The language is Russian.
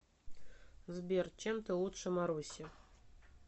сбер чем ты лучше маруси